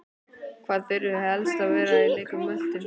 Hvað þurfið þið helst að varast í leik Möltu?